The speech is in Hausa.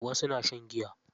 Wasu na shan giya.